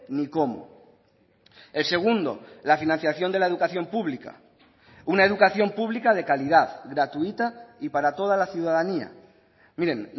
ni cómo el segundo la financiación de la educación pública una educación pública de calidad gratuita y para toda la ciudadanía miren